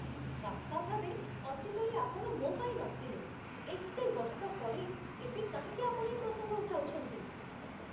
ବାପା ଭାବେ, ଅତୀତରେ ଆପଣ ମୋ ପାଇଁ ନଥିଲେ। ଏତେ ବର୍ଷ ପରେ ଏବେ କାହିଁକି ଆପଣ ଏ ପ୍ରସଙ୍ଗ ଉଠାଉଛନ୍ତି?